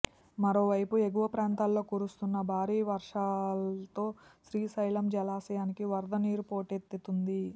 మరోవైపు ఎగువ ప్రాంతాల్లో కురుస్తున్న భారీ వర్షాలతో శ్రీశైలం జలాశయానికి వరద నీరు పోటెత్తింది